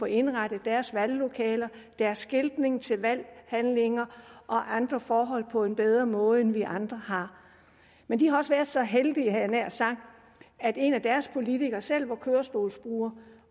indrettet deres valglokaler deres skiltning til valghandlinger og andre forhold på en bedre måde end vi andre har men de har også været så heldige havde jeg nær sagt at en af deres politikere selv var kørestolsbruger